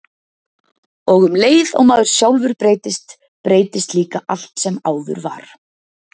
Og um leið og maður sjálfur breytist, breytist líka allt sem áður var.